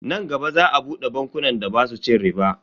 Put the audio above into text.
Nan gaba za a bude bankunan da basu cin riba.